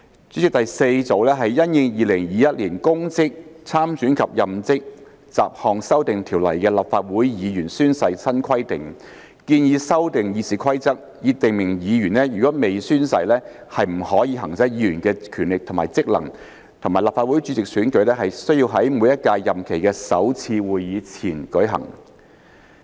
主席，第四組是因應《2021年公職條例》的立法會議員宣誓新規定，建議修訂《議事規則》以訂明議員如未宣誓，不得行使議員的權力或職能，以及立法會主席選舉須在每屆任期的首次會議前舉行。